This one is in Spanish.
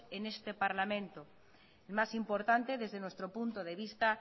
en este parlamento la más importante desde nuestro punto de vista